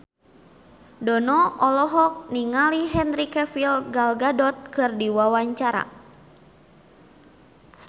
Dono olohok ningali Henry Cavill Gal Gadot keur diwawancara